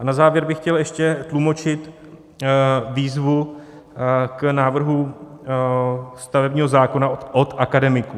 A na závěr bych chtěl ještě tlumočit výzvu k návrhu stavebního zákona od akademiků: